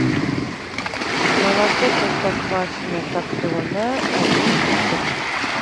молоко простоквашино топленое один литр